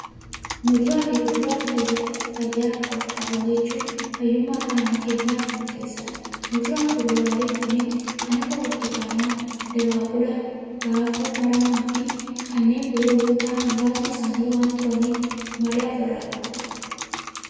Muduraa fi kuduraa fayyaa qaban nyaachuun fayyummaa qaama keenyaaf murteessaadha. Muduraa fi kuduraaleen kunneen kan akka burtukaanaa, dabaaqulaa, raafuu maramaa fi kanneen biroo yoo ta'an, muraasni isaanii waan turaniif madaa ofirra qabu.